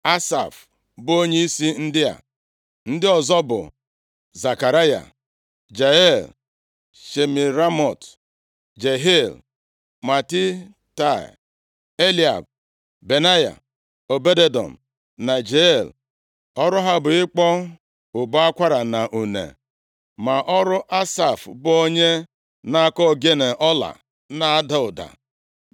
Asaf bụ onyeisi ndị a. Ndị ọzọ bụ Zekaraya, Jeiel, Shemiramot, Jehiel, Matitaia, Eliab, Benaya, Obed-Edọm na Jeiel. Ọrụ ha bụ ịkpọ ụbọ akwara, na une, ma ọrụ Asaf bụ onye na-akụ ogene ọla na-ada ụda.